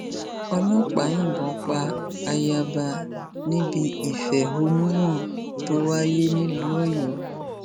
ọlọpàá yìnbọn pa ayaba níbi ìfẹhónú hàn tó wáyé nílùú ọyọ